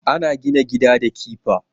Ana gina gida da kifa